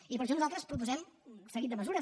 i per això nosaltres proposem un seguit de mesures